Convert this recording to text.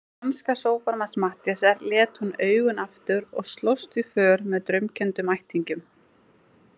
Í franska sófanum hans Matthíasar lét hún augun aftur og slóst í för með draumkenndum ættingjum.